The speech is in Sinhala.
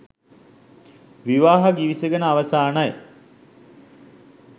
විවාහ ගිවිසගෙන අවසානයි